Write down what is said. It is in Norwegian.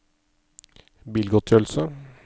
bilgodtgjørelse